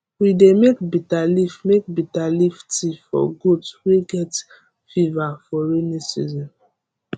we dey make bitter leaf make bitter leaf tea for goat wey get fever for rainy season